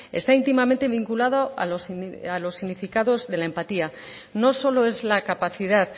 está íntimamente vinculado a los significados de la empatía no solo es la capacidad